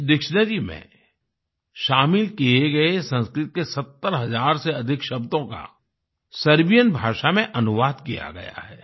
इस डिक्शनरी में शामिल किए गए संस्कृत के 70 हजार से अधिक शब्दों का सर्बियन भाषा में अनुवाद किया गया है